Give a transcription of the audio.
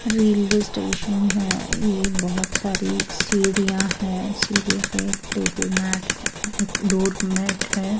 Railway station है ये बोहोत सारी सढ़ियाँ हैं सीढ़ियों पे टेबल मैट है डोर मैट है।